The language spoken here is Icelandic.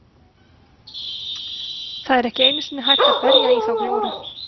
Sovétmönnum tekst að aflétta umsátrinu